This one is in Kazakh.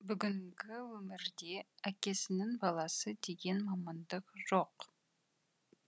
бүгінгі өмірде әкесінің баласы деген мамандық жоқ